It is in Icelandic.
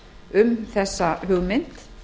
um þessa hugmynd